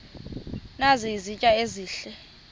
nazi izitya ezihle